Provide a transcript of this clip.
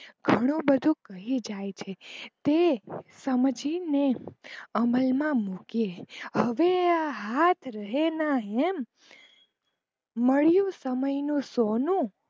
ઘણું બધું કહી જાય છે તે સમજી ને અમલ માં મુકીયે, હવેઆ હાથ રહે ના રહે, મળિયું સમય નું સોનુ